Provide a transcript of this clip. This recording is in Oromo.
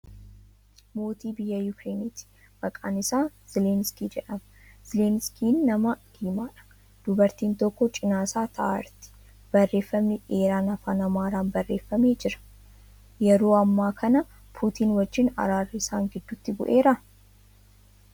Mootii biyya Yukireeniiti. Maqaan isaa Zeleniksii jedhama. Zeleniksiin nama diimaadha. Dubartiin tokko cina isaa tahaa jirti. Barreeffamni dheeraan Afaan Amaaraan barreeffamee jira. Yeroo hammaa kana Puutiin wajjiin araarri isaan gidduutti bu'eeraa?